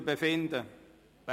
Wir befinden darüber.